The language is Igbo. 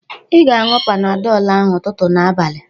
"Ị ga-añụ Panadol ahụ ụtụtụ na abalị"